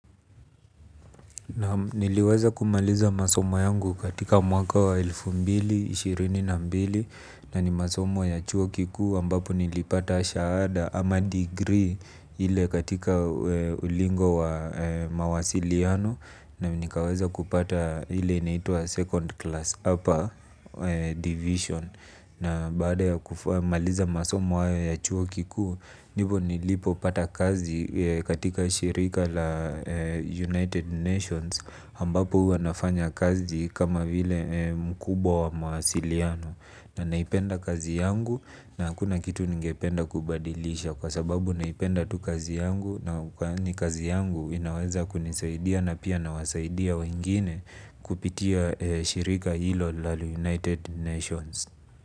Niliweza kumaliza masomo yangu katika mwaka wa elfu mbili, ishirini na mbili na ni masomo ya chuo kikuu ambapo nilipata shaada ama degree ile katika ulingo wa mawasiliano na nikaweza kupata ile inaitwa second class upper division. Na baada ya kumaliza masomo hayo ya chuo kikuu, ndipo nilipo pata kazi katika shirika la United Nations Ambapo huwa nafanya kazi kama vile mkubwa wa maasiliano. Na naipenda kazi yangu na hakuna kitu ningependa kubadilisha. Kwa sababu naipenda tu kazi yangu na kazi yangu inaweza kunisaidia na pia na wasaidia wengine kupitia shirika hilo la United Nations. Kwa hivyo,